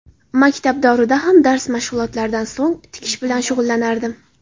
Maktab davrida ham dars mashg‘ulotlaridan so‘ng tikish bilan shug‘ullanardim.